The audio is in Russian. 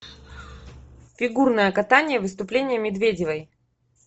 фигурное катание выступление медведевой